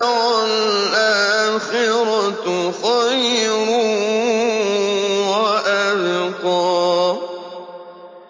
وَالْآخِرَةُ خَيْرٌ وَأَبْقَىٰ